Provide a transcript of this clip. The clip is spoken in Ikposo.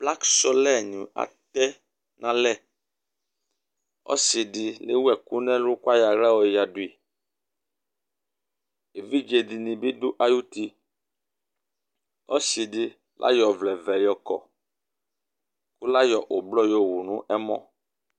Plakɩsɔlɛ nɩ atɛnalɛ Ɔsɩ di lewu ɛkʋ nʋ ɛlʋ kʋ ayɔ aɣla yoyǝdʋ yɩ Evidze dini bɩ du ayʋ uti Ɔsɩ di layɔ ɔvlɛvɛ yɔkɔ kʋ layɔ ʋblɔ yowu nʋ ɛmɔ